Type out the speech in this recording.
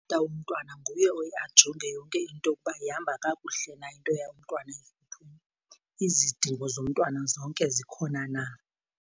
Utata womntwana nguye oye ajonge yonke into ukuba ihamba kakuhle na into yomntwana , izidingo zomntwana zonke zikhona na.